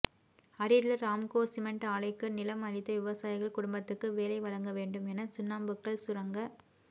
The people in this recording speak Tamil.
அரியலூா் ராம்கோ சிமென்ட் ஆலைக்கு நிலம் அளித்த விவசாயிகள் குடும்பத்துக்கு வேலை வழங்க வேண்டும் என சுண்ணாம்புக்கல் சுரங்க